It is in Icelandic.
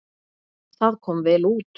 Það kom vel út.